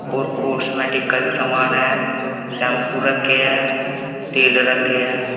और कॉस्मेटिक का भी समान है शैम्पू रखे हैं तेल रखे हैं।